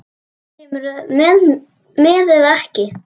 Kemurðu með eða ekki.